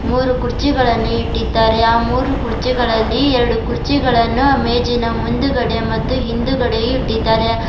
ಮೂರು ಕುರ್ಚಿಗಳನ್ನು ಇಟ್ಟಿದ್ದಾರೆ ಆ ಮೂರು ಕುರ್ಜಿಗಳಲ್ಲಿ ಎರಡು ಕುರ್ಚಿಗಳನ್ನು ಆ ಮೇಜಿನ ಮುಂದುಗಡೆ ಮತ್ತು ಹಿಂದುಗಡೆಯು ಇಟ್ಟಿದ್ದಾರೆ.